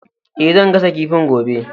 E, zan gasa kifin gobe.